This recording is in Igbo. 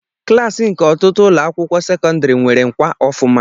Klaasị nke ọtụtụ ụlọ akwụkwọ sekọndrị nwere ngwá ofuma.